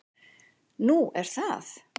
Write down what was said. """Nú, er það?"""